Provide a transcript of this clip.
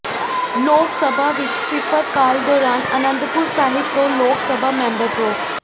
ਲੋਕ ਸਭਾ ਵਿੱਚ ਸਿਫ਼ਰ ਕਾਲ ਦੌਰਾਨ ਆਨੰਦਪੁਰ ਸਾਹਿਬ ਤੋਂ ਲੋਕ ਸਭਾ ਮੈਂਬਰ ਪ੍ਰੋ